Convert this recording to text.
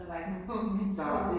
Så der var ikke nogen mennesker